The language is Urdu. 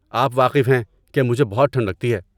آپ واقف ہیں کہ مجھے بہت ٹھنڈ لگتی ہے۔